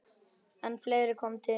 En fleira kom til.